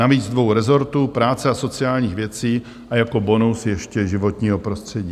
Navíc dvou rezortů, práce a sociálních věcí a jako bonus ještě životního prostředí.